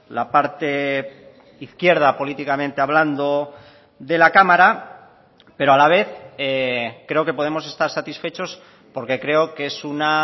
la parte izquierda políticamente hablando de la cámara pero a la vez creo que podemos estar satisfechos porque creo que es una